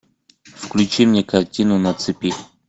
включи мне картину на цепи